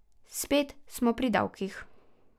Spet smo pri davkih.